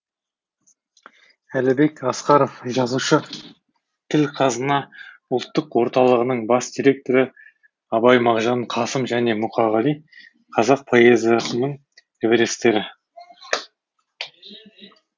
әлібек асқаров жазушы тіл қазына ұлттық орталығының бас директоры абай мағжан қасым және мұқағали қазақ поэзиясының эвересттері